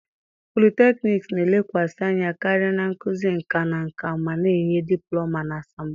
Polytechnics na-elekwasị anya karịa na nkuzi nka na nka ma na-enye diplọma na asambodo.